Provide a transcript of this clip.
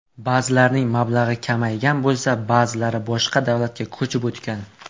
Ba’zilarining mablag‘i kamaygan bo‘lsa, ba’zilari boshqa davlatlarga ko‘chib o‘tgan.